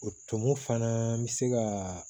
O tumu fana bɛ se ka